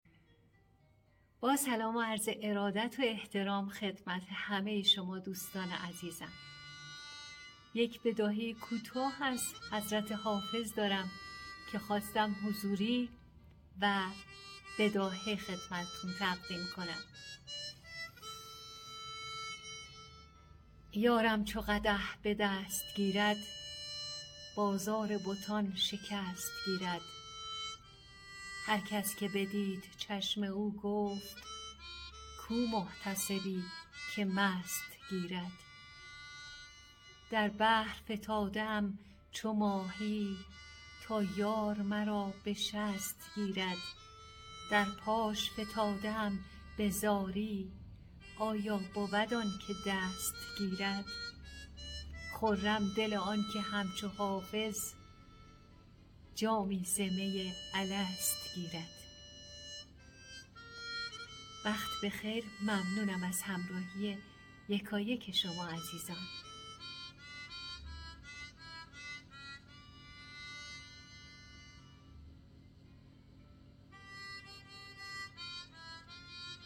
یارم چو قدح به دست گیرد بازار بتان شکست گیرد هر کس که بدید چشم او گفت کو محتسبی که مست گیرد در بحر فتاده ام چو ماهی تا یار مرا به شست گیرد در پاش فتاده ام به زاری آیا بود آن که دست گیرد خرم دل آن که همچو حافظ جامی ز می الست گیرد